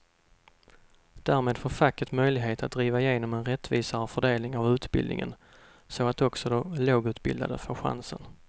Därmed får facket möjlighet att driva igenom en rättvisare fördelning av utbildningen så att också de lågutbildade får chansen.